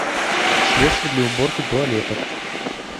средство для уборки туалетов